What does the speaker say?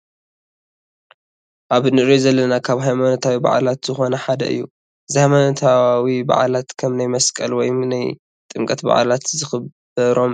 ኣብ እንርእዩ ዘለና ካብ ሃይማኖታዊ ባዓላት ዝኮኑ ሓደ እዩ። እዚ ሃይማኖታዊ ባዓላት ከም ናይ መሰቀል ወይም ናይ ጥምቀት በዓላት ዝክበሮም እዮም።